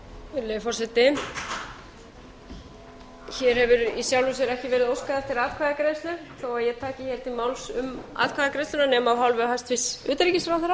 virðulegi forseti hér hefur í sjálfu sér ekki verið óskað eftir atkvæðagreiðslu þó að ég taki hér til máls um atkvæðagreiðsluna nema af hálfu hæstvirts utanríkisráðherra